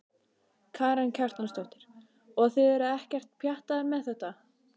Karen Kjartansdóttir: Og þið eruð ekkert pjattaðar með þetta?